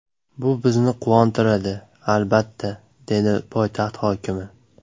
Bu bizni quvontiradi, albatta”, dedi poytaxt hokimi.